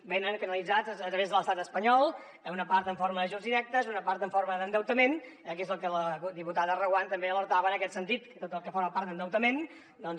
venen canalitzats a través de l’estat espanyol una part en forma d’ajuts directes i una part en forma d’endeutament eh que és del que la diputada reguant també alertava en aquest sentit que tot el que forma part d’endeutament doncs